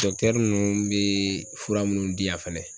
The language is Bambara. nun bee fura minnu di yan fɛnɛ